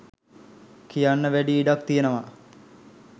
කියන්න වැඩි ඉඩක් තියෙනව.